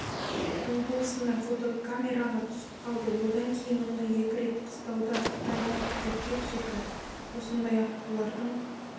облысында фотокамераға түсіп қалды одан кейін оны екі рет қыстауда қытайда суретке түсірді осындай аққулардың